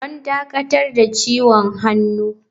Don dakatar da ciwon hannu.